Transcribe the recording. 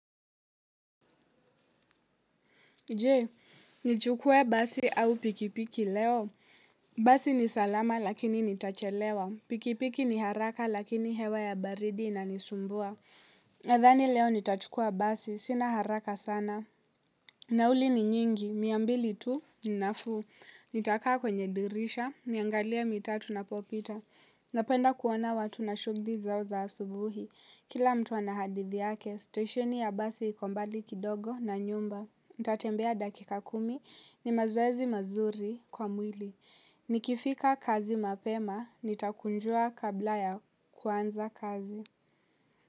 Je, nichukue basi au pikipiki leo basi ni salama lakini nitachelewa, pikipiki ni haraka lakini hewa ya baridi inanisumbua nadhani leo nitachukua basi, sina haraka sana. Nauli ni nyingi, mia mbili tu, ninafuu. Nitakaa kwenye dirisha, niangalia matatu inapopita. Napenda kuona watu na shughuli zao za asubuhi. Kila mtu anahadithi yake, stasheni ya basi iko mbali kidogo na nyumba. Nitatembea dakika kumi ni mazoezi mazuri kwa mwili. Nikifika kazi mapema nitakujua kwanza kabla ya kuanza kazi.